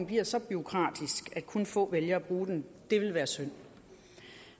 bliver så bureaukratisk at kun få vælger at bruge den det ville være synd